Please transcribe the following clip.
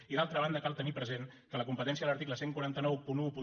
i d’altra banda cal tenir present que la competència de l’article catorze noranta u